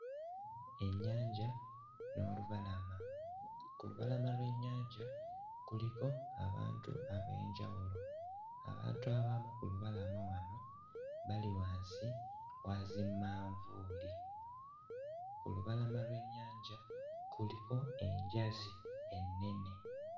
Ennyanja n'olubalama ku lubalama lw'ennyanja kuliko abantu ab'enjawulo abantu abamu ku lubalama wano bali wansi wa zimanvuuli ku lubalama lw'ennyanja kuliko enjazi ennene.